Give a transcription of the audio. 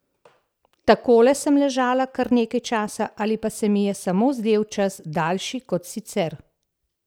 Takole sem ležala kar nekaj časa, ali pa se mi je samo zdel čas daljši kot sicer?